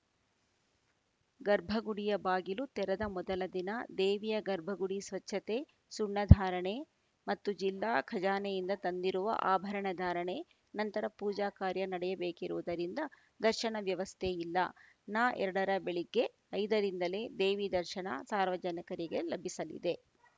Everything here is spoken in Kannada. ಗರ್ಭಗುಡಿಯ ಬಾಗಿಲು ತೆರದ ಮೊದಲ ದಿನ ದೇವಿಯ ಗರ್ಭಗುಡಿ ಸ್ವಚ್ಛತೆ ಸುಣ್ಣಧಾರಣೆ ಮತ್ತು ಜಿಲ್ಲಾ ಖಜಾನೆಯಿಂದ ತಂದಿರುವ ಆಭರಣ ಧಾರಣೆ ನಂತರ ಪೂಜಾಕಾರ್ಯ ನಡೆಯಬೇಕಿರುವುದರಿಂದ ದರ್ಶನ ವ್ಯವಸ್ಥೆ ಇಲ್ಲ ನ ಎರಡರ ಬೆಳಗ್ಗೆ ಐದರಿಂದಲೇ ದೇವಿ ದರ್ಶನ ಸಾರ್ವಜನಿಕರಿಗೆ ಲಭಿಸಲಿದೆ